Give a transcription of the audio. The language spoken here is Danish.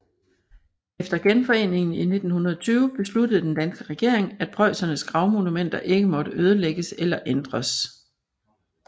Efter genforeningen i 1920 besluttede den danske regering at preussernes gravmonumenter ikke måtte ødelægges eller ændres